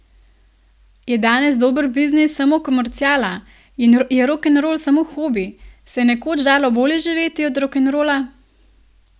Je danes dober biznis samo komerciala, je rokenrol samo hobi, se je nekoč dalo bolje živeti od rokenrola?